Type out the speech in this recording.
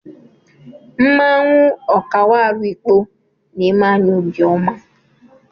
Mmanwụ Okawaru Ikpo na-eme anyị obiọma.